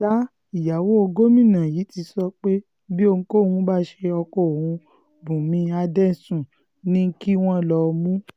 sa ìyàwó gómìnà yìí ti sọ pé bí ohunkóhun bá ṣe ọkọ òun bùnmi adẹ́sùn ni kí wọ́n lọó mú